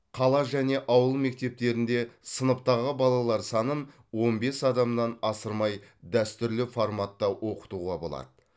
қала және ауыл мектептерінде сыныптағы балалар санын он бес адамнан асырмай дәстүрлі форматта оқытуға болады